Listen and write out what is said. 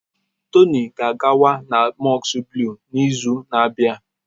Tony ga-agakwa na Mosque Blue n'izu na-abịa.